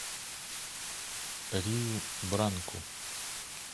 риу бранку